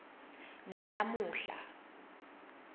nalamuhla